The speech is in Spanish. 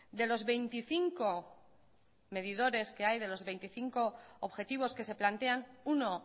de los veinticinco medidores que hay de los veinticinco objetivos que se plantean uno